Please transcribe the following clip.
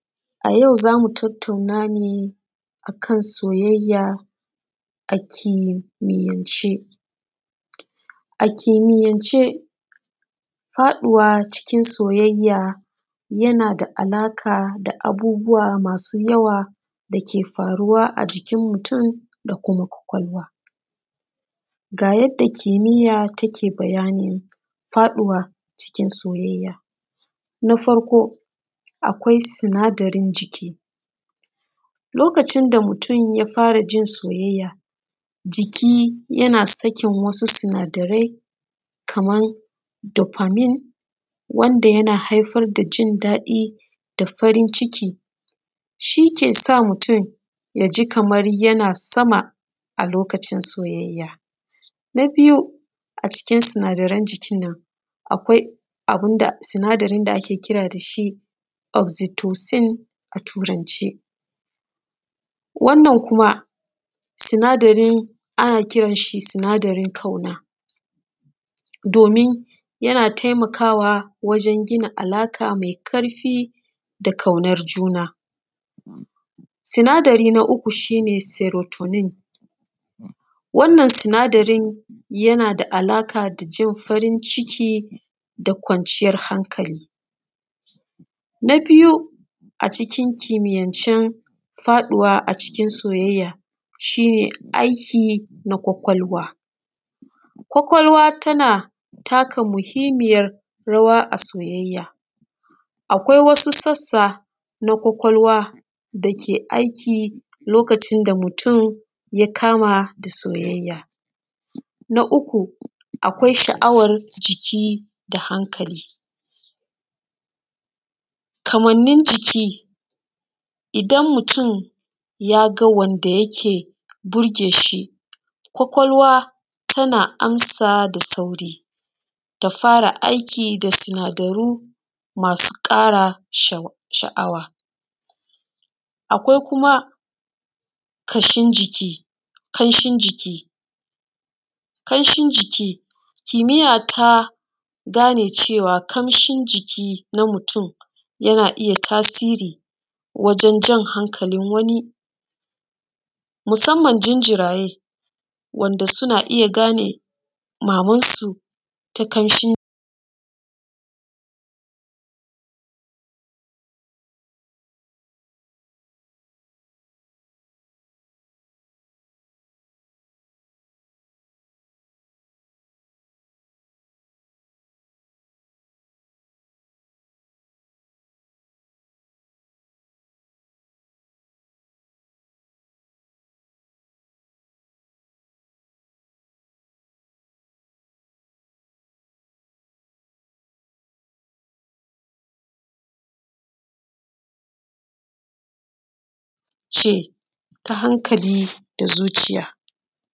A yau za mu tatauna ne a kan soyayya a kimiyance. A kimiyance faɗuwa cikin soyayya yana da alaƙa da abubuwa masu yawa da ke faruwa a jikin mutun da kuma ƙwaƙwalwa. Ga yadda kimiyya take bayanin faɗuwa cikin soyayya. Na farko akwai sinadarin jiki, lokacin da mutun ya fara jin soyayya jiki yana sakin wasu sunadarai kamar dofermi, wanda yana haifar da jindaɗi da farin ciki, shi ke sa mutun ya ji kamar yana sama a lokacin soyayya. Na biyu a cikin sinadarai jikin nan akwai sinadarin da ake kira da shi oxitosin a turance. Wannan kuma sina darin ana kiran shi sinadarin ƙauna domin yana taimakawa wajan gina alaƙa mai ƙarfi da ƙaunar juna. Sinadari na uku shi ne seretonin wannan sinadarin yana da alaƙa da jin farin ciki da kwanciyan hankali. Na biyu a cikin kimiyance faɗuwa a cikin soyayya shi ne aiki na ƙwaƙwalwa. Ƙwaƙwalwa tana taka muhimmiyar rawa a soyayya. Akwai wasu sassa na ƙwaƙwalwa da ke aiki lokacin da mutun ya kama da soyayya. Na uku akwai sha'awar jiki da hankali. Kamanin jiki idan mutum ya ga wanda yake burge shi ƙwaƙwalwa tana amsa da sauri ta fara aikin da sinadaru masu ƙara sha'awa. Kawai kuma ƙamshin jiki. Kimiyya ta gane cewa ƙamshin jiki na mutun yana iya tasiri wajan jan hankali wani musaman jinjiraye wanda suna iya gane mamansu ta ƙamshin jikinta ta hankali da zuciya.